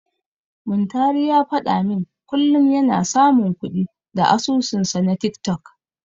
Muntari ya faɗa min kullum yana samun kuɗi da asusunsa na tiktok.